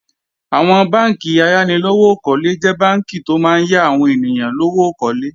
Àwọn bánkì ayánilówókọ́lé jẹ́ bánkì tó máa ń yá àwọn ènìyàn lówó kólé